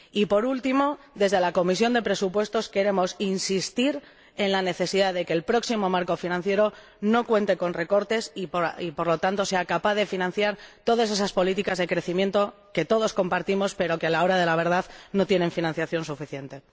Y, por último, desde la Comisión de Presupuestos queremos insistir en la necesidad de que el próximo marco financiero no cuente con recortes, y, por lo tanto, sea capaz de financiar todas esas políticas de crecimiento que todos compartimos pero que, a la hora de la verdad, no tienen financiación suficiente.